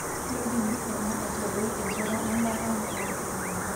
Keidim ena aitadoi enkata embaata metaa nkolong'I ake.